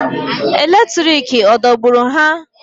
Eletriki adọgburu ha?